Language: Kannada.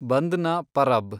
ಬಂದ್ನ ಪರಬ್